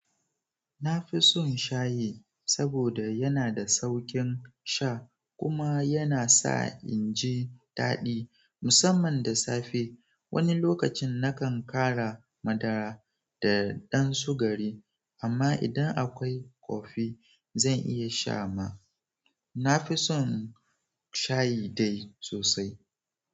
Na fi son shayi saboda yana da sauƙin sha kuma yana sa in ji daɗi musamman da safe. Wani lokacin na kan ƙara madara da ɗan sugari amma idan akwai kofi zan iya sha ma. Na fi son shayi dai sosai.